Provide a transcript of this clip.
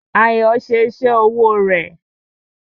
Ayọ̀ ṣe iṣẹ́ owó rẹ̀